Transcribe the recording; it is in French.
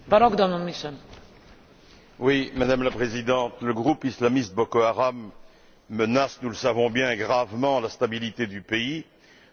Madame la Présidente, le groupe islamiste Boko Haram menace, nous le savons bien, gravement la stabilité du pays, de la sous région et de la région tout entière.